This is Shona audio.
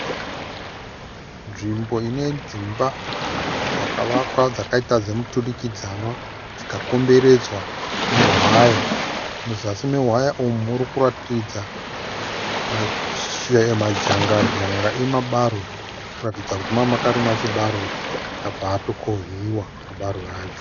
Nzvimbo ine dzimba dzakavakwa dzakaitwa zvemuturikidzwanwa dzikakombredzwa newaya. Muzasi mewaya umu murikuratidza madzangadzanga emabarwe, zvinoratidza kuti manga makarimwa mambarwe ,abva. atokohwiwa mabarwe acho.